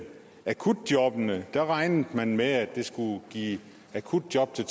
akutjobbene regnede man med at det skulle give akutjob til